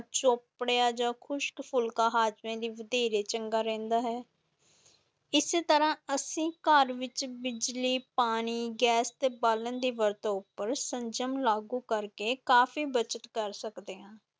ਚੋਪੜਿਆ ਜਾਂ ਖੁਸ਼ਕ ਫੁਲਕਾ ਹਾਜ਼ਮੇ ਲਈ ਵਧੇਰੇ ਚੰਗਾ ਰਹਿੰਦਾ ਹੈ ਇਸੇ ਤਰ੍ਹਾਂ ਅਸੀਂ ਘਰ ਵਿੱਚ ਬਿਜਲੀ, ਪਾਣੀ, ਗੈਸ ਤੇ ਬਾਲਣ ਦੀ ਵਰਤੋਂ ਉੱਪਰ ਸੰਜਮ ਲਾਗੂ ਕਰ ਕੇ ਕਾਫ਼ੀ ਬੱਚਤ ਕਰ ਸਕਦੇ ਹਾਂ।